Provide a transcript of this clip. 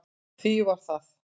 Því var það